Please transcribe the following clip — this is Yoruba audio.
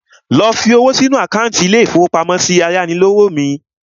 Lọ fi owó sínu àkántì ilé-ìfowópamọ́sí ayánilówó mi